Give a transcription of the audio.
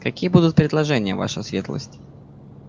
какие будут предложения ваша светлость